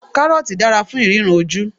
Kárọ́ọ̀tì dára fún ìríran ojú.